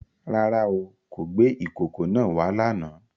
Rárá o, kò gbé ìkòkò náà wá lánàá.